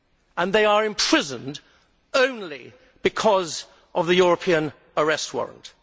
And they are imprisoned only because of the European Arrest Warrant.